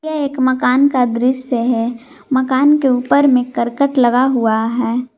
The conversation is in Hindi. यह एक मकान का दृश्य है मकान के ऊपर में करकट लगा हुआ है।